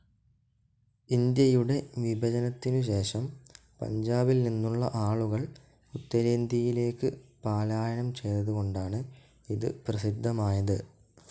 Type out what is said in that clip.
ഇന്ത്യയുടെ വിഭജനത്തിനു ശേഷം പഞ്ചാബിൽനിന്നുള്ള ആളുകൾ ഉത്തരേന്ത്യയിലേക്ക് പലായനം ചെയ്തതുകൊണ്ടാണ് ഇത് പ്രസിദ്ധമായത്.